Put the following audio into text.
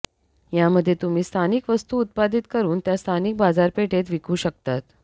यामध्ये तुम्ही स्थानिक वस्तू उत्पादित करून त्या स्थानिक बाजारपेठेत विकू शकतात